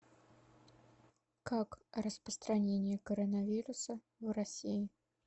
как распространение коронавируса в россии